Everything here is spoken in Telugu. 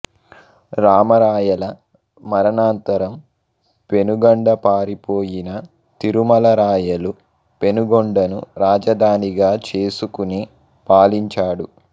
రామరాయల మరణాంతరం పెనుగండ పారిపోయిన తిరుమల రాయలు పెనుగొండను రాజధానిగా చేసుకుని పాలించాడు